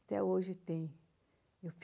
Até hoje tem. Eu